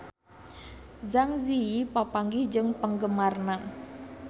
Zang Zi Yi papanggih jeung penggemarna